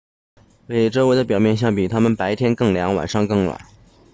比周围的表面相比它们白天更凉晚上更暖